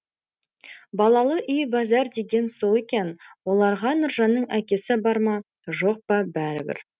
балалы үй базар деген сол екен оларға нұржанның әкесі бар ма жоқ па бәрі бір